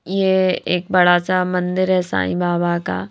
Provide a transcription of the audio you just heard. यह एक बड़ा सा मंदिर है साईं बाबा का।